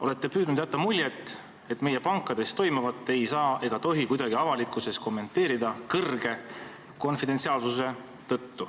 Olete püüdnud jätta muljet, et meie pankades toimuvat ei saa ega tohi konfidentsiaalsuse tõttu kuidagi avalikkuses kommenteerida.